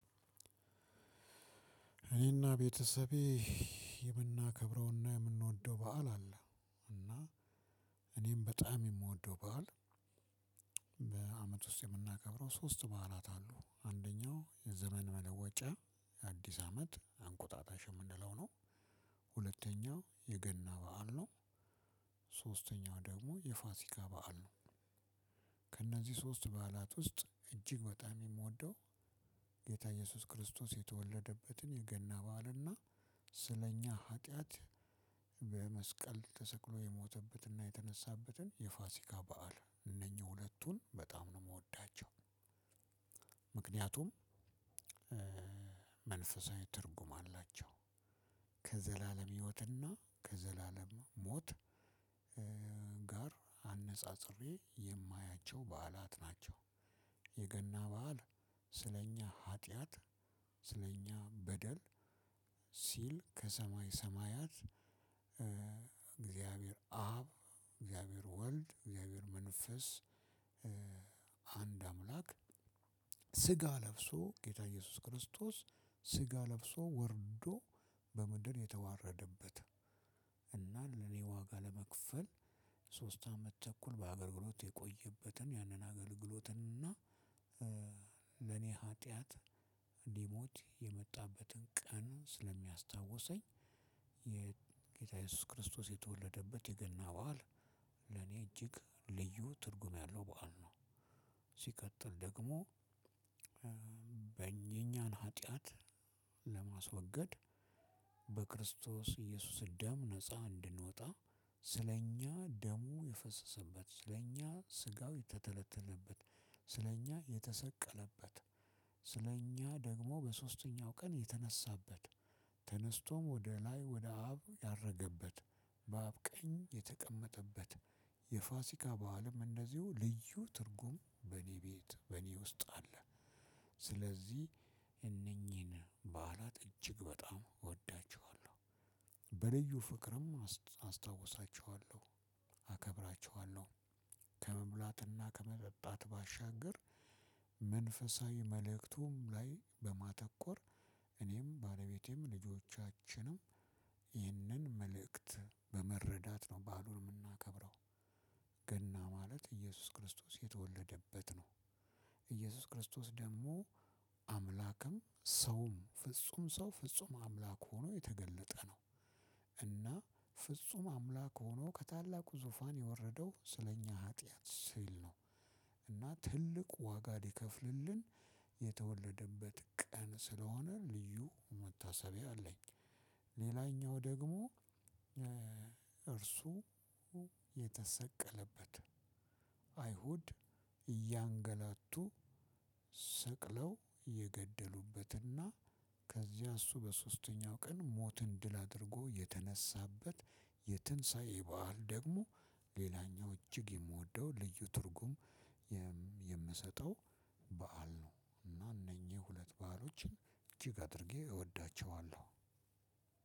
እኔና ቤተሰቤ የምናከብረውና የምንወደው በዓል አለ። እና እኔም በጣም የምወደው በዓል በአመት ውስጥ የምናከብረው ሶስት በዓላት አሉ። አንደኛው የዘመን መለወጫ የአዲስ አመት አንቆጣጣሽ የምንለው ነው። ሁለተኛው የገና በዓል ነው። ሶስተኛው ደግሞ የፋሲካ በዓል ነው። ከእነዚህ ሶስት በዓላት ውስጥ እጅግ በጣም የምወደው ጌታ ኢየሱስ ክርስቶስ የተወለደበትን የገና በዓልና ስለኛ ኃጢአት በመስቀል ተሰቅሎ የሞተበትና የተነሳበትን የፋሲካ በዓል እነኚህ ሁለቱን በጣም ነው የምወዳቸው። ምክንያቱም መንፈሳዊ ትርጉም አላቸው። ከዘላለም ህይወትና ከዘላለም ሞት ጋር አነጻጽሬ የማያቸው በዓላት ናቸው። የገና በዓል ስለኛ ኃጢአት ስለኛ በደል ሲል ከሰማይ ሰማያት እግዚአብሔር አብ እግዚአብሔር ወልድ እግዚአብሔር መንፈስ አንድ አምላክ ስጋ ለብሶ ጌታ እየሱስ ክርስቶስ ስጋ ለብሶ ወርዶ በምድር የተዋረደበት እና ለኔ ዋጋ ለመክፈል ሶስት አመት ተኩል በአገል ግሎት የቆየበትን ያንን አገልግሎትን እና ለኔ ኃጢአት እንዲሞት የመጣበትን ቀን ስለሚያስታውሰኝ የጌታዬ ክርስቶስ የተወለደበት የገና በዓል። ለኔ እጅግ ልዩ ትርጉም ያለው በዓል ነው። ሲቀጥል ደግሞ የእኛን ኃጢአት ለማስወገድ በክርስቶስ ኢየሱስ ደም ነፃ እንድንወጣ ስለእኛ ደሙ የፈሰሰበት ስለእኛ ስጋው የተተለተለበት ስለኛ የተሰቀለበት ስለኛ ደግሞ በሶስተኛው ቀን የተነሳበት ተነስቶም ወደ ላይ ወደ አብ ያረገበት። በአብ ቀኝ የተቀመጠበት። የፋሲካ በዓልም እንደዚሁ ልዩ ትርጉም በእኔ ቤት በእኔ ውስጥ አለ። ስለዚህ እነኚህን በዓላት እጅግ በጣም እወዳቸዋለሁ። በልዩ ፍቅርም አስታውሳቸዋለው አከብራቸዋለሁም። ከመብላትና ከመጠጣት ባሻገር መንፈሳዊ መልእክቱም ላይ በማተኮር እኔም ባለቤቴም ልጆቻችንም ይህንን መልእክት በመረዳት ነው በዓሉን የምናከብረው። ገና ማለት ኢየሱስ ክርስቶስ የተወለደበት ነው። ኢየሱስ ክርስቶስ ደግሞ አምላክም ሰውም ፍጹም ሰው ፍጹም አምላክ ሆኖ የተገለጠ ነው። እና ፍጹም አምላክ ሆኖ ከታላቁ ዙፋን የወረደው ስለኛ ኃጢአት ሲል ነው። ትልቅ ዋጋ ሊከፍልልን የተወለደበት ቀን ስለሆነ መታሰቢያ አለኝ። ሌላኛው ደግሞ እርሱ የተሰቀለበት አይሁድ እያንገለቱ የገደሉበትና ከዚያ እሱ በሶስተኛው ቀን ሞትን ድል አድርጎ የተነሳበት። የትንሳኤ በዓል ደግሞ ሌላኛው እጅግ የምወደው ልዩ ትርጉም የምሰጠው በዓል ነው። እና እነኚህ ሁለት በዓሎችን እጅግ አድርጌ እወዳቸዋለሁ።